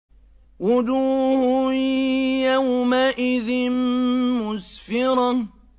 وُجُوهٌ يَوْمَئِذٍ مُّسْفِرَةٌ